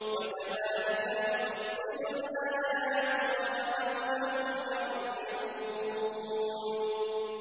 وَكَذَٰلِكَ نُفَصِّلُ الْآيَاتِ وَلَعَلَّهُمْ يَرْجِعُونَ